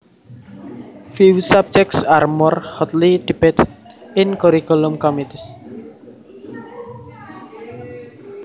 Few subjects are more hotly debated in curriculum committees